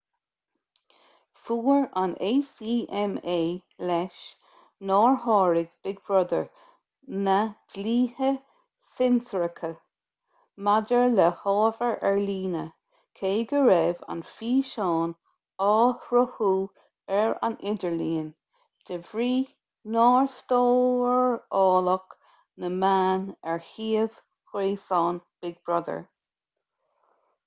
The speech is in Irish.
fuair an acma leis nár sháraigh big brother na dlíthe cinsireachta maidir le hábhar ar líne cé go raibh an físeán á shruthú ar an idirlíon de bhrí nár stóráladh na meáin ar shuíomh gréasáin big brother